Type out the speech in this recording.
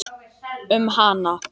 Um hana?